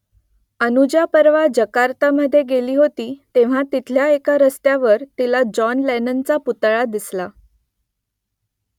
अनुजा परवा जकार्तामधे गेली होती तेव्हा तिथल्या एका रस्त्यावर तिला जॉन लेननचा पुतळा दिसला